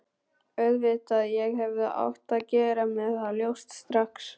Auðvitað, ég hefði átt að gera mér það ljóst strax.